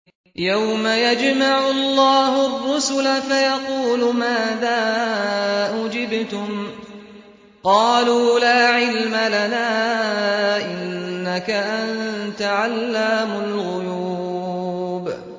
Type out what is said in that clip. ۞ يَوْمَ يَجْمَعُ اللَّهُ الرُّسُلَ فَيَقُولُ مَاذَا أُجِبْتُمْ ۖ قَالُوا لَا عِلْمَ لَنَا ۖ إِنَّكَ أَنتَ عَلَّامُ الْغُيُوبِ